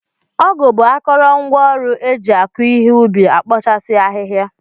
Ọgụ bụ akarangwaọrụ eji akụ ihe ubi, ekpochasi ahịhịa.